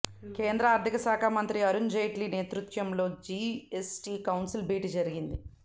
కేంద్ర ఆర్థిక శాఖ మంత్రి అరుణ్ జైట్లీ నేతృత్వంలో జీఎస్టీ కౌన్సిల్ భేటీ జరిగింది